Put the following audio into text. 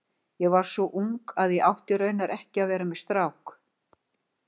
Ég var svo ung að ég átti raunar ekki að vera með strák.